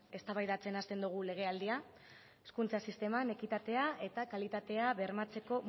eztabaidatzen hasten dugu legealdia hezkuntza sisteman ekitatea eta kalitatea bermatzeko